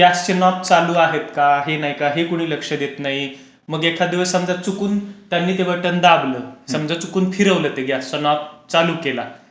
ते गॅसचे नोब चालू आहेत का? हे नाही का? हे कोणी लक्ष देत नाही, मग एखादं दिवस समजा त्यांनी चुकून ते बटन दाबलं समजा चुकून ते फिरवलं असं नोब चालू केला,